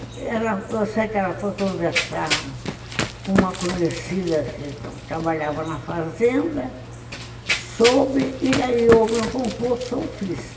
E eu sei que ela foi conversar com uma conhecida que trabalhava na fazenda, soube, e aí houve um concurso, eu fiz.